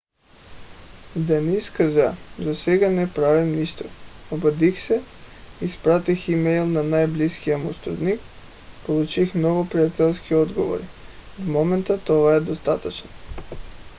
даниъс каза: засега не правим нищо. обадих се изпратих имейл на най - близкия му сътрудник получих много приятелски отговори. в момента това е достатъчно.